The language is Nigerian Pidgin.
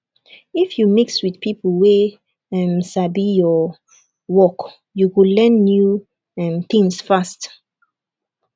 if you mix with people wey um sabi your um work you go learn new um things fast